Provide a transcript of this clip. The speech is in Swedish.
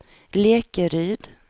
Lekeryd